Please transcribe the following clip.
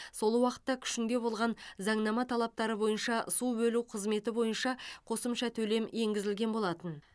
сол уақытта күшінде болған заңнама талаптары бойынша су бөлу қызметі бойынша қосымша төлем енгізілген болатын